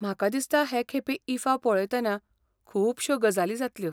म्हाका दिसता हे खेपे ईफा पळयतना खूबश्यो गजाली जातल्यो.